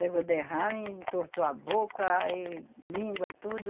Pegou derrame e entortou a boca aí língua, tudo.